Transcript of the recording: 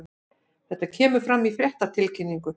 Þetta kemur fram í fréttatilkynningu